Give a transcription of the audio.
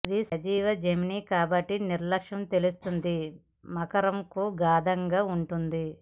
ఇది సజీవ జెమిని కాబట్టి నిర్లక్ష్య తెలుస్తోంది మకరం కు గాఢంగా ఉంటుంది